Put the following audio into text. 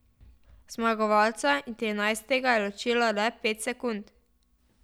Zmagovalca in trinajstega je ločilo le pet sekund.